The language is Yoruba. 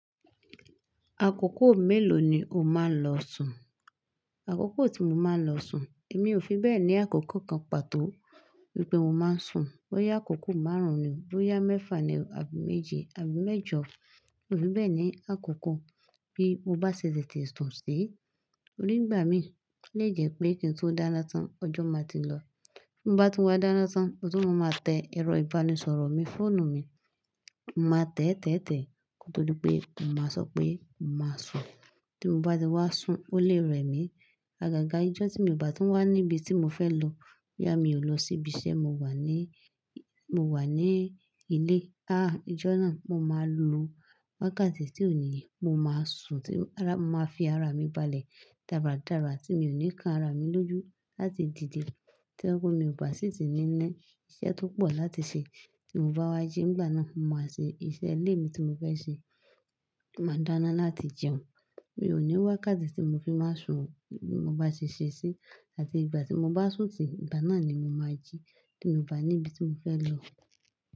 Àkókò mélòó ni o máa ń lọ sùn? Àkókò tí mo máa ń lọ sùn, èmi ò fi bẹ́ẹ̀ ní àkókò kan pàtó wípé mo máa ń sùn. Bó yá àkókò márùn-ún ni, bó yá mẹ́fà ni, àbí méje, àbí mẹ́jọ. Mo fi bẹ́ẹ̀ ní àkókò bí mo bá ṣe lè tè sùn sí. Torí ń gbà mí olè jẹ́ pé kí n tó dáná tán ọjọ́ ma ti lọ. Bí n bá tun wá dáná tán, motún mo máa tẹ ẹ̀rọ ìbánisọ̀rọ̀ mi, fóònù mi. Mo máa tẹ́tẹ́tẹ̀ kó tó dípé mo máa sọ pé mo máa sùn. Tí mo bá ti wá sùn ó lè rẹ̀ mí. Agaga ijọ́ tí mo bá tún wá níbi tí mo fẹ́ lọ. Biá mi ò lọ síbi iṣẹ́, mo wà n lé, mo wà ní ilé. Háà ijọ́ náà mo máa lo wákàtí tí òníyè mo máa sùn tí ara mo máa fi ara mi balẹ̀ dáradára tí mi o ní kán ara mi lójú láti dìde. Tí ọwọ́ mi ò bá sì ti ní ní iṣẹ́ tó pọ̀ láti ṣe tí n bá wá jí ìgbà náà mo máa ṣe iṣẹ́ ilé mi tí mo fẹ́ ṣe. Mo máa dáná láti jẹun. Mi ò ní wákàtí tí mo fi máa sùn o bí mo bá sè ṣe sí. Áti ìgbà tí mo bá sùn tì í, ìgbà náà ni mo máa jí tí mo bá ní ibi tí mo fẹ́ lọ.